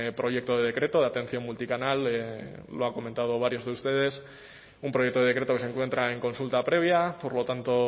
proyecto de decreto de atención multicanal lo han comentado varios de ustedes un proyecto de decreto que se encuentra en consulta previa por lo tanto